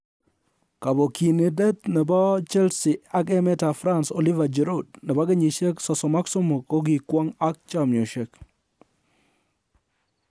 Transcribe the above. Kobokyindet nebo Chelsea ak emetab France Oliver Giroud, nebo kenyisiek 33, "kokikwong," ak chamchosiek